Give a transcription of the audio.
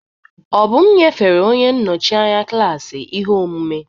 Obum nyefere onye nnọchi anya klaasị ihe omume.